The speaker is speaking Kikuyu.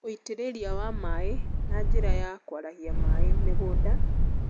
Wũitĩrĩria wa maaĩ na njĩra ya kwarahia maĩ mĩgũnda,